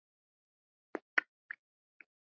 Þannig var Helga.